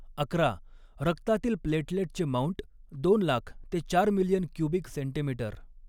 अकरा रक्तातील प्लेटलेटचे माउंट, दोन लाख ते चार मिलियन क्यूबिक सेंटीमीटर